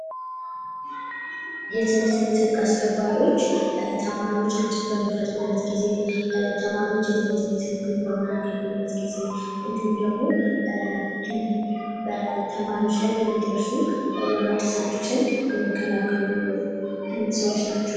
የትምህርት ቤት ህግ አስከባሪዎች ተማሪዎች ግጭት በሚፈጥሩበት ጊዜ ተማሪዎች የትምህርት ቤት ህግን በሚያከብሩበት ጊዜ እንድሁም ደግሞ በተማሪዎች ላይ የሚደርሱ የመብት ጥሰቶችን የሚከላከሉ ሰዎች ናቸው።